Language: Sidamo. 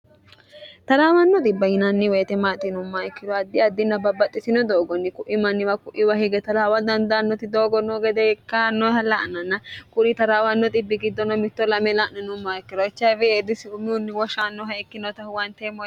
taraawanno xbb yinanni weitemaaxinu mayikkiro addi addinna babbaxxisino doogonni ku'imanniwa ku'iwa hige talaawa dandaannoti doogonnoo gede ikkaannoha la'nanna kuni taraawanno bbi giddono mitto 2ame la'ninumaikkirochfeedisi umiunni woshaannoha ikkinotahu wante o